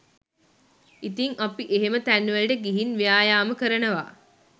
ඉතිං අපි එහෙම තැන්වලට ගිහින් ව්‍යායාම කරනවා